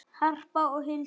Harpa og Hulda.